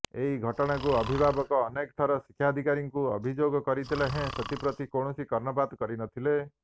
ଏହି ଘଟଣାକୁ ଅଭିଭାବକ ଅନେକ ଥର ଶିକ୍ଷାଧିକାରୀଙ୍କୁ ଅଭିଯୋଗ କରିଥିଲେ ହେଁ ଏଥିପ୍ରତି କୌଣସି କର୍ଣ୍ଣପାତ କରିନଥିଲେ